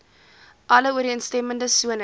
alle ooreenstemmende sones